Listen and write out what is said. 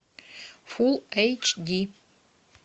фул эйч ди